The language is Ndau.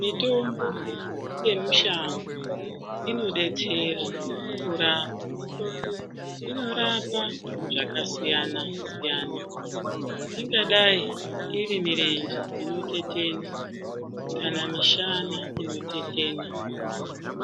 Mitombo yemushango inodetsera kurapa, ino rapa zvakasiyanasiyana ingadai iri mirenje inotetena, kana mishana inotetena